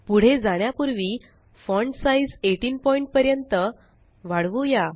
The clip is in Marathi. पुढे जाण्यापुर्वी फॉण्ट साइज़ 18 पॉइंट पर्यंत वाढवूया